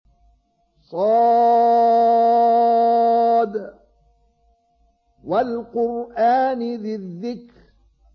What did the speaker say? ص ۚ وَالْقُرْآنِ ذِي الذِّكْرِ